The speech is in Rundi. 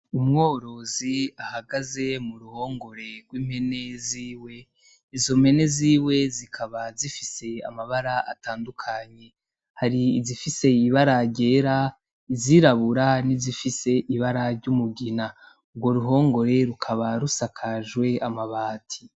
Umworozi ahagaze muruhongore rw'impene ziwe , izompene ziwe zikaba zifise amabara atandukanye hari izifise ibara ryera, izirabura nizifise ibara ryumugina urwo ruhongore rukaba rusakajwe amabati .